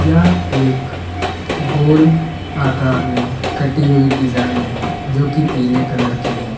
यह एक आकार में कटी हुई डिजाइन है जो की पीले कलर की है।